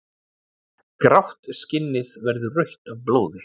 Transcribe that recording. Grátt skinnið verður rautt af blóði.